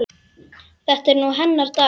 Þetta er nú hennar dagur.